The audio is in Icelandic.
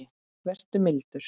Vertu mildur.